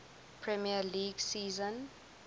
premier league season